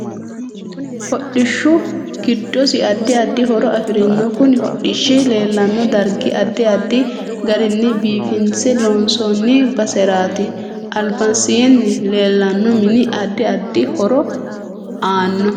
Hodhishu giddosi addi addi horo afirinno kuni hodhishi leelanno dargi addi addi garinni biifinse loonsooni baseraati albasiini leelanno mini addi addi horo aanno